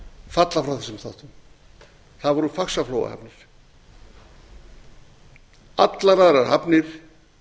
falla frá þessum þáttum það voru faxaflóahafnir allar aðrir hafnir